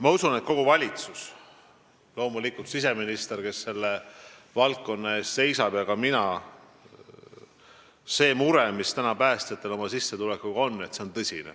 Ma usun, et kogu valitsus mõistab, loomulikult mõistab siseminister, kes selle valdkonna eest seisab, ja mõistan ka mina, et see mure, mis päästjatel on oma sissetuleku pärast, on tõsine.